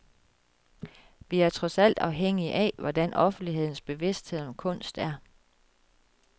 Vi er trods alt afhængige af, hvordan offentlighedens bevidsthed om kunst er.